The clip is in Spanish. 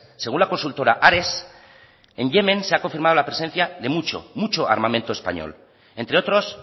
según la consultora ares en yemen se ha confirmado la presencia de mucho mucho armamento español entre otros